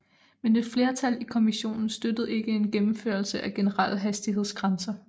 Men et flertal i kommissionen støttede ikke en gennemførelse af generelle hastighedsgrænser